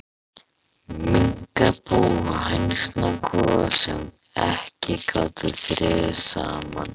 Minkabú og hænsnakofar, sem ekki gátu þrifist saman.